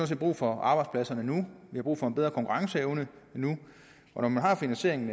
set brug for arbejdspladserne nu vi har brug for en bedre konkurrenceevne nu og når man har finansieringen